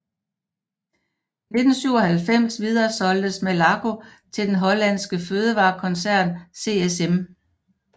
I 1997 videresolgtes Malaco til den hollandske fødevarekoncern CSM